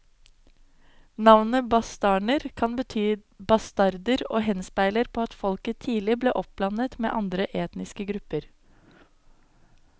Navnet bastarner kan bety bastarder og henspeiler på at folket tidlig ble oppblandet med andre etniske grupper.